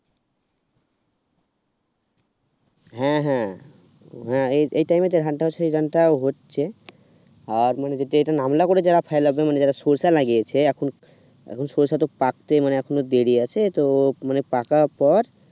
হ্যাঁ হ্যাঁ এই time এ তো ধানটা সেই ধানটা হচ্ছে আর যেটা মানের নামলা করে সরষে লাগিয়েছে এখন এখন সরষে তো পাকতে এখনো দেরী আছে তো মানে পাকা পর